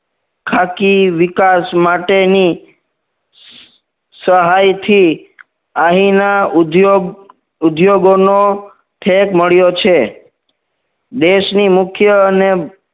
ખાખી વિકાસ માટેની સહાયથી આહીના ઉદ્યોગ ઉદ્યોગો નો ઠેક મળ્યો છે દેશની મુખ્ય અને